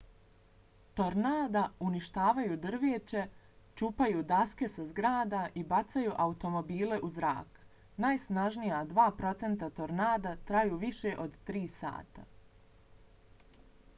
tornada uništavaju drveće čupaju daske sa zgrada i bacaju automobile u zrak. najsnažnija dva procenta tornada traju više od tri sata